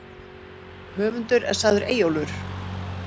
Höfundur er sagður Eyjólfur í